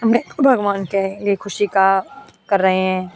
ये ख़ुशी का कर रहे हैं।